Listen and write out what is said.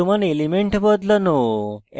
বর্তমান element বদলানো